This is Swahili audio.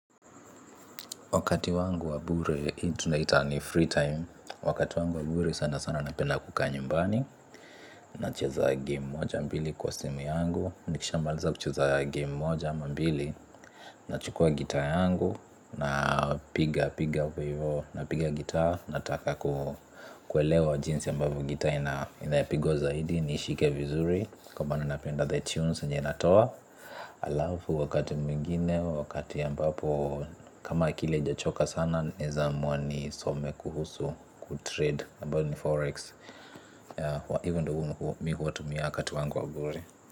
Wakati wangu wa bure hii tunaita ni free time. Wakati wangu wa bure sana sana napenda kukaa nyumbani. Nacheza gemu moja mbili kwa simu yangu. Nikishamaliza kucheza gemu moja ama mbili. Nachukua gita yangu napigapiga hapo ivo. Napiga gitaa, nataka kuelewa jinsi ambavyo gita inapigwa zaidi, niishike vizuri kwa maama napenda the tunes yenye inatoa. Alafu wakati mwingine wakati ambapo kama akili haijachoka sana, naweza amua nisome kuhusu Kutrade ambayo ni forex. Hivo ndio mimi hutumia wakati wangu wa bure.